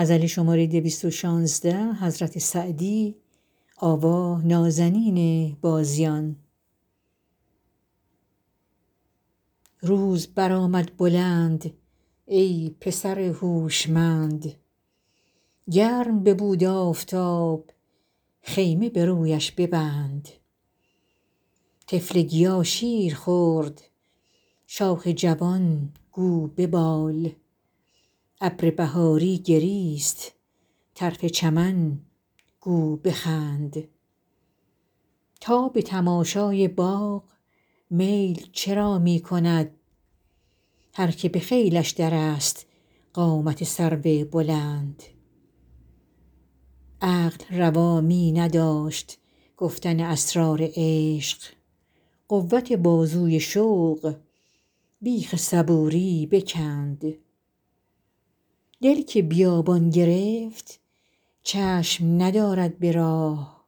روز برآمد بلند ای پسر هوشمند گرم ببود آفتاب خیمه به رویش ببند طفل گیا شیر خورد شاخ جوان گو ببال ابر بهاری گریست طرف چمن گو بخند تا به تماشای باغ میل چرا می کند هر که به خیلش درست قامت سرو بلند عقل روا می نداشت گفتن اسرار عشق قوت بازوی شوق بیخ صبوری بکند دل که بیابان گرفت چشم ندارد به راه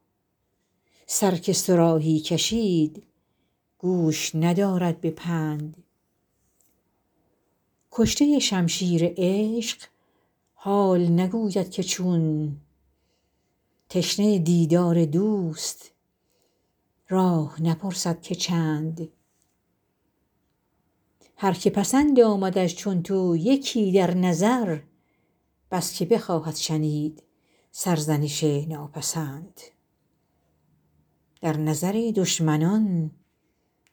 سر که صراحی کشید گوش ندارد به پند کشته شمشیر عشق حال نگوید که چون تشنه دیدار دوست راه نپرسد که چند هر که پسند آمدش چون تو یکی در نظر بس که بخواهد شنید سرزنش ناپسند در نظر دشمنان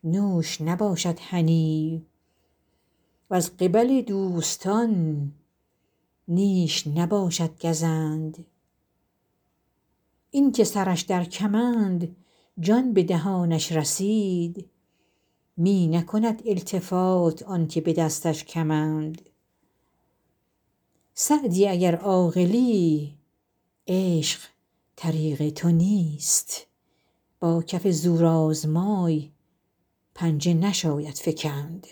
نوش نباشد هنی وز قبل دوستان نیش نباشد گزند این که سرش در کمند جان به دهانش رسید می نکند التفات آن که به دستش کمند سعدی اگر عاقلی عشق طریق تو نیست با کف زورآزمای پنجه نشاید فکند